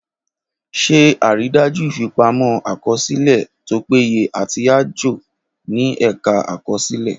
Ṣe àrídájú ìfipamọ́-àkọsílẹ̀ tó péye àti àjọ ní Ẹ̀ka Àkọsílẹ̀.